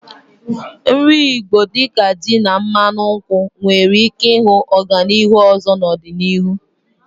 Nri Igbo dị ka ji na mmanu nkwụ nwere ike ịhụ ọganihu ọzọ n'ọdịnihu.